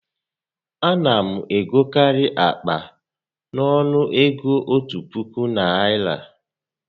A na m egokarị akpa a n'ọnụ ego òtù puku Naịra